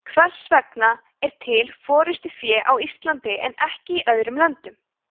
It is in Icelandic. hvers vegna er til forystufé á íslandi en ekki í öðrum löndum